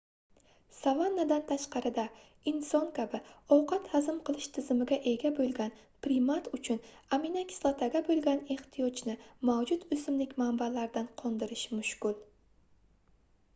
savannadan tashqarida inson kabi ovqat hazm qilish tizimiga ega boʻlgan primat uchun aminokislotaga boʻlgan ehtiyojni mavjud oʻsimlik manbalaridan qondirish mushkul